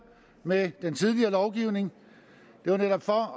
med den tidligere lovgivning det var netop for